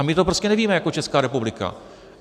A my to prostě nevíme jako Česká republika.